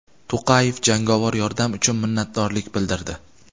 To‘qayev jangovar yordam uchun minnatdorlik bildirdi.